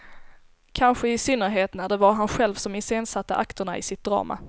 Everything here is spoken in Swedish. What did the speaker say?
Kanske i synnerhet när det var han själv som iscensatte akterna i sitt drama.